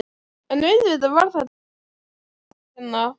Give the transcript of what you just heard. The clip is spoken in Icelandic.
En auðvitað var þetta allt þér að kenna.